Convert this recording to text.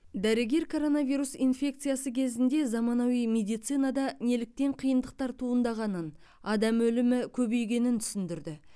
дәрігер коронавирус инфекциясы кезінде заманауи медицинада неліктен қиындықтар туындағанын адам өлімі көбейгенін түсіндірді